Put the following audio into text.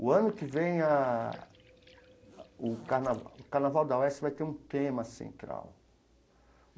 O ano que vem ah, o Carna o Carnaval da UESP vai ter um tema central.